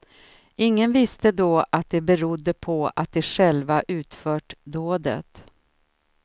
Ingen visste då att det berodde på att de själva utfört dådet.